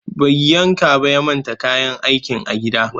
Bai yanka ba ya manta kayan aikin a gida